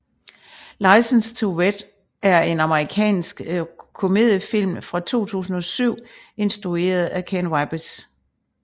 License to Wed er en amerikansk romantisk komedie film fra 2007 instrueret af Ken Kwapis